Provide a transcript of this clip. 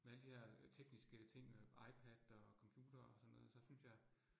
Med alle de her øh tekniske ting øh, IPad og computer og sådan noget, så synes jeg